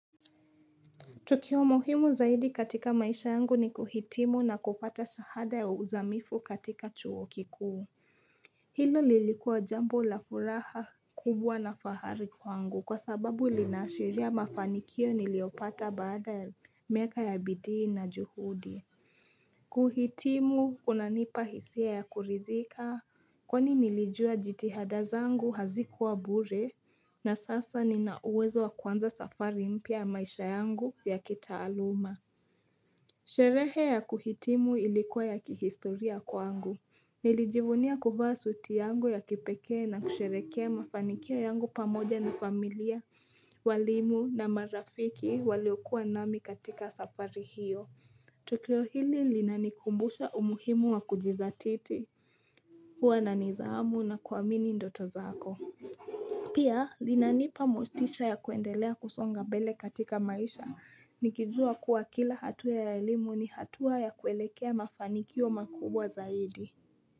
Tukio muhimu zaidi katika maisha yangu ni kuhitimu na kupata shahada ya uzamifu katika chuo kikuu. Hilo lilikuwa jambo la furaha kubwa na fahari kwangu kwa sababu linaashiria mafanikio niliopata baada miaka ya bidii na juhudi. Kuhitimu unanipa hisia ya kuridhika Kwani nilijua jitihada zangu hazikuwa bure na sasa ninauwezo wa kuanza safari mpya maisha yangu ya kitaaluma Sherehe ya kuhitimu ilikuwa ya kihistoria kwangu Nilijivunia kuvaa suti yangu ya kipekee na kusherehekea mafanikio yangu pamoja na familia walimu na marafiki waliokuwa nami katika safari hiyo Tokio hili linanikumbusha umuhimu wa kujizatiti Huwa na nidhamu na kuamini ndoto zako Pia linanipa mostisha ya kuendelea kusonga mbele katika maisha nikijua kuwa kila hatua ya elimu ni hatua ya kuelekea mafanikio makubwa zaidi.